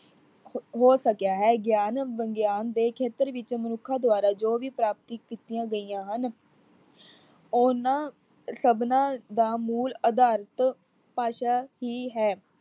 ਹੋ ਸਕਿਆ ਹੈ। ਗਿਆਨ ਵਿਗਿਆਨ ਦੇ ਖੇਤਰ ਵਿੱਚ ਮਨੁੱਖਾ ਦ੍ਵਾਰਾ ਜੋ ਵੀ ਪ੍ਰਾਪਤੀ ਕੀਤੀਆਂ ਗਈਆਂ ਹਨ ਉਹਨਾਂ ਸਭਨਾਂ ਦਾ ਮੂਲ਼ ਅਧਾਰਤ ਭਾਸ਼ਾ ਹੀ ਹੈ।